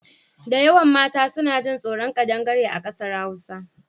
Dayawan mata suna jin tsoron ƙadangare a ƙasar Hausa.